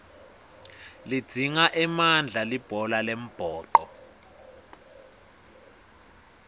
lidzinga emandla libhola lembhoco